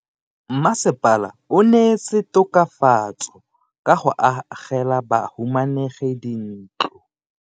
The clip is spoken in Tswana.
Mmasepala o neetse tokafatso ka go agela bahumanegi dintlo.